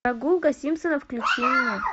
прогулка симпсонов включи мне